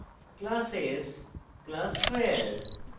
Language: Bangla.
classes classes square